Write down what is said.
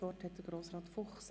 Das Wort hat Grossrat Fuchs.